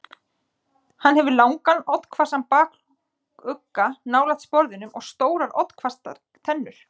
Hann hefur langan, oddhvassan bakugga nálægt sporðinum og stórar oddhvassar tennur.